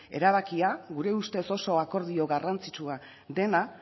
erabakia gure ustez oso akordio garrantzitsua dena